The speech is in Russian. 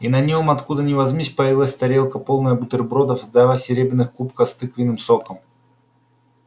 и на нём откуда ни возьмись появилась тарелка полная бутербродов и два серебряных кубка с тыквенным соком